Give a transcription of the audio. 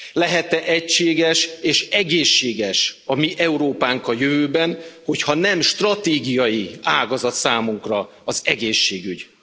Lehet e egységes és egészséges a mi Európánk a jövőben, hogyha nem stratégiai ágazat számunkra az egészségügy.